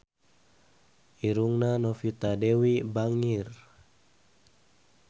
Irungna Novita Dewi bangir